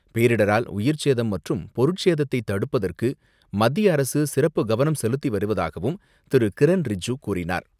பேரிடரால் உயிர்ச்சேதம் மற்றும் பொருட்சேதத்தை தடுப்பதற்கு மத்திய அரசு சிறப்பு கவனம் செலுத்தி வருவதாகவும் திரு கிரண் ரிஜ்ஜு கூறினார்.